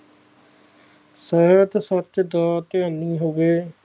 ਸੋਹਣਾ ਤੇ ਸੱਚ ਦਾ ਗਿਆਨੀ ਹੋਵੇ